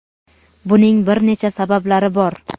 buning bir necha sabablari bor.